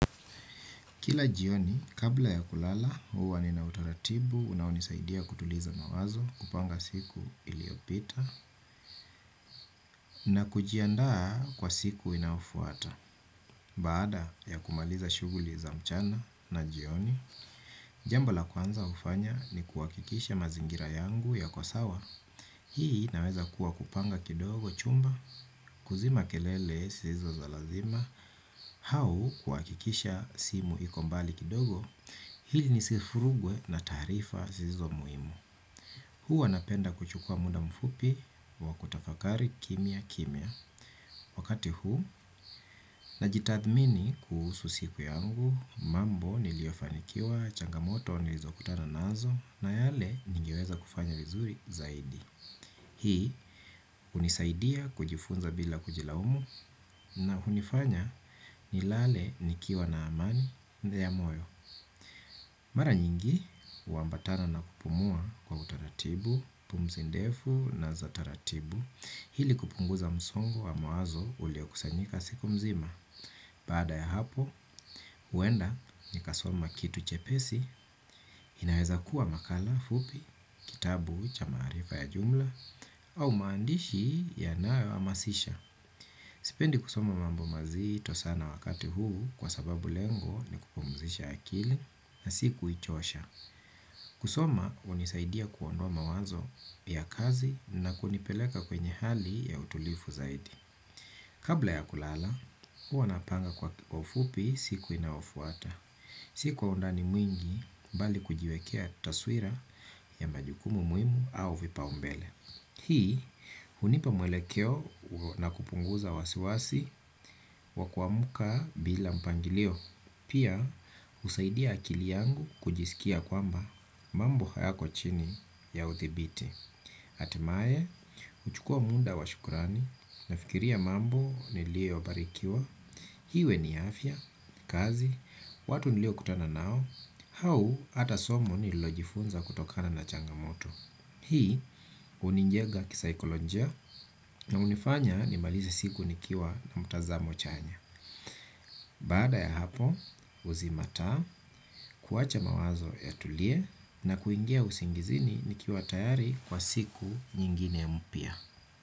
Kila jioni, kabla ya kulala, huwa ninautaratibu, unaonisaidia kutuliza mawazo, kupanga siku iliopita, na kujiandaa kwa siku inayofuata. Baada ya kumaliza shuguli za mchana na jioni, jambo la kwanza hufanya ni kuhakikisha mazingira yangu yako sawa. Hii inaweza kuwa kupanga kidogo chumba, kuzima kelele zisizo za lazima, au kuhakikisha simu iko mbali kidogo. Ili nisifurugwe na taarifa zisizo muhimu huwa napenda kuchukua muda mfupi wa kutafakari kimya kimya. Wakati huu najitathmini kuhusu siku yangu. Mambo niliofanikiwa changamoto nilizokutana nazo na yale nigeweza kufanya vizuri zaidi. Hii hunisaidia kujifunza bila kujilaumu. Na hunifanya nilale nikiwa na amani ya moyo. Mara nyingi, huambatana na kupumua kwa utaratibu, pumsi ndefu na za taratibu, ili kupunguza msongo wa mawazo uliokusanyika siku mzima. Baada ya hapo, huenda ni kasoma kitu chepesi, inaweza kuwa makala, fupi, kitabu, cha maarifa ya jumla, au maandishi yanayo hamasisha. Sipendi kusoma mambo mazito sana wakati huu kwa sababu lengo ni kupumzisha akili na si kuichosha. Kusoma hunisaidia kuondoa mawazo ya kazi na kunipeleka kwenye hali ya utulivu zaidi. Kabla ya kulala, huwa napanga kwa ufupi siku inayofuata. Si kwa undani mwingi bali kujiwekea taswira ya majukumu muhimu au vipaumbele. Hii hunipa mwelekeo na kupunguza wasiwasi wa kuamka bila mpangilio. Pia husaidia akili yangu kujisikia kwamba mambo hayako chini ya uthibiti. Hatimaye, huchukua muda wa shukurani nafikiria mambo niliyobarikiwa. Iwe ni afya, kazi, watu niliokutana nao, au hata somo nililojifunza kutokana na changamoto. Hii hunijega kisaikolojia na hunifanya nimalize siku nikiwa na mtazamo chanya. Baada ya hapo huzima taa kuwacha mawazo yatulie na kuingia usingizini nikiwa tayari kwa siku nyingine mpya.